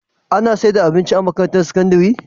Ana saida abinci a makarantar sakandari?